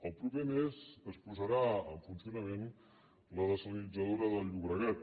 el proper mes es posarà en funcionament la dessalinitzadora del llobregat